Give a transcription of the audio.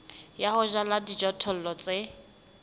ya ho jala dijothollo tse